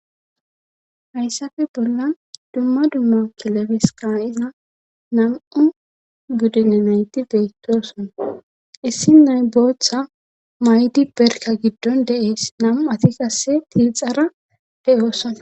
hayssafe bolla dumma dumma kilebeska iza nam7u buddine nayti beettoson issi nayboththa maydi berka giddon de7ees nam7u ati qasse tiixara de7oosan